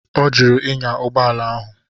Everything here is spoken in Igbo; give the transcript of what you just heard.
Ọ jụrụ ịnya ụgbọala ahụ.